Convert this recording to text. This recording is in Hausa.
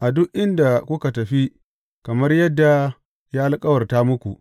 a duk inda kuka tafi, kamar yadda ya alkawarta muku.